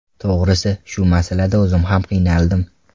To‘g‘risi, shu masalada o‘zim ham qiynaldim.